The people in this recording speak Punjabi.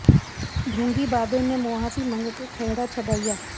ਢੌ ਾਗੀ ਬਾਬੇ ਨੇ ਮੁਆਫ਼ੀ ਮੰਗ ਕੇ ਖਹਿੜਾ ਛਡਾਇਆ